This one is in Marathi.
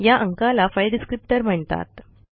या अंकाला फाइल डिस्क्रिप्टर म्हणतात